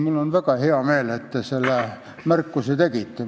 Mul on väga hea meel, et te selle märkuse tegite.